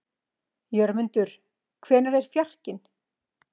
Jörmundur, hvenær kemur fjarkinn?